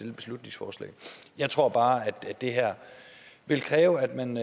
et beslutningsforslag jeg tror bare at det her vil kræve at man